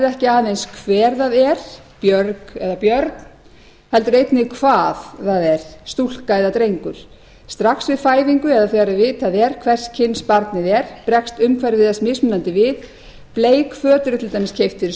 ekki aðeins hver það er björg eða björn heldur einnig hvað það er stúlka eða drengur strax við fæðingu eða þegar vitað er hvers kyns barnið er bregst umhverfi þess mismunandi við bleik föt eru til dæmis keypt fyrir